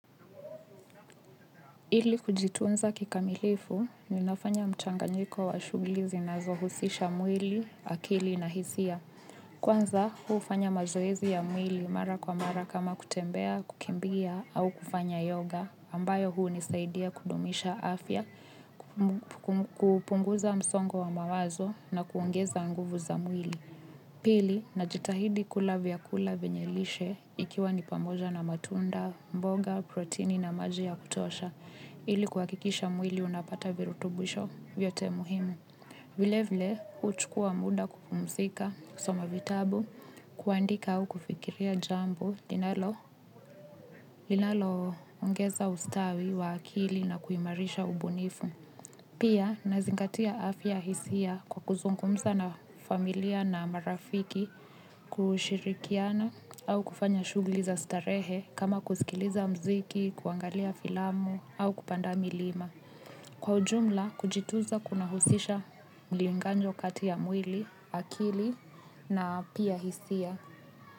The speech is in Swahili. Ili kujitunza kikamilifu ni nafanya mchanganyiko wa shuguli zinazohusisha mwili, akili na hisia. Kwanza huu ufanya mazoezi ya mwili mara kwa mara kama kutembea, kukimbia au kufanya yoga ambayo huu nisaidia kudumisha afya, kupunguza msongo wa mawazo na kuongeza nguvu za mwili. Pili na jitahidi kula vyakula venyelishe ikiwa nipamoja na matunda, mboga, protini na maji ya kutosha ili kuhakikisha mwili unapata virutubwisho vyote muhimu. Vilevile huchukua muda kupumzika kusoma vitabu, kuandika au kufikiria jambo linalo ongeza ustawi wa akili na kuimarisha ubunifu. Pia na zingatia afya hisia kwa kuzungumza na familia na marafiki kushirikiana au kufanya shugli za starehe kama kusikiliza mziki, kuangalia filamu au kupanda milima. Kwa ujumla kujituza kuna husisha mlinganjo kati ya mwili, akili na pia hisia.